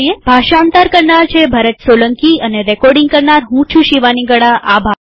ભાષાંતર કરનાર છે ભરત સોલંકીરેકોર્ડીંગ કરનાર હું ચુ શિવાની ગડાઅભાર